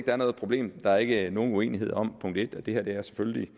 er noget problem der er ikke nogen uenighed om at det her selvfølgelig